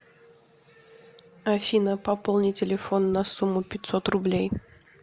афина пополни телефон на сумму пятьсот рублей